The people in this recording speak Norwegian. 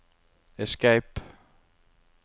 escape